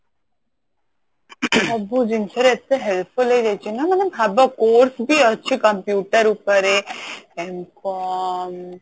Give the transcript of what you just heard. ସବୁ ଜିନିଷରେ ଏତେ helpful ହେଇଯାଇଛି ନା ମାନେ ଭାବ course ବି ଅଛି computer ଉପରେ M com